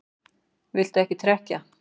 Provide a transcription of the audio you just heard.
Viltu ekki trekkja?